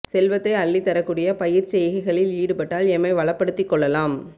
செல்வத்தை அள்ளித் தரக் கூடிய பயிர்ச் செய்கைகளில் ஈடுபட்டால் எம்மை வளப்படுத்திக் கொள்ளலாம்